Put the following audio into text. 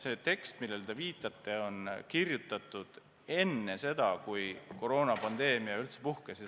See tekst, millele te viitasite, on kirjutatud enne seda, kui koroonapandeemia üldse puhkes.